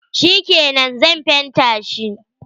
Shikenan, Zan fenta shi.